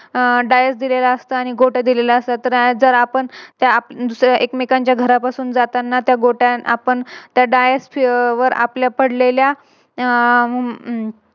आह Dice दिलेला असतो आणि गोट्या दिलेल्या असतात. जर आपण एकमेकांच्या घरापासून जाताना गोट्या आपण त्या Dice वर आपलं पडलेल्या हम्म